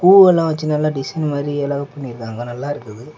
பூ எல்லா வைச்சு நல்ல டிசைன் மாரி எல்லாமெ பண்ணிருக்காங்க நல்லா இருக்குது.